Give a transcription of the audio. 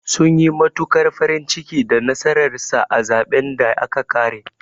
Sun yi matuƙar farin ciki da nasarar sa a zaɓen da aka ƙare.